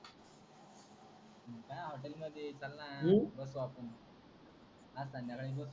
काय हॉटेल मध्ये चलन ऊ बसु आपण आज संध्याकाळी बसु